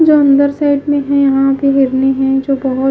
जो अंदर साइड में है यह पे गर्मी है जो बोहोत--